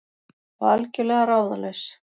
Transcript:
Og algjörlega ráðalaus.